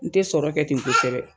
N tɛ sɔrɔ kɛ ten kosɛbɛ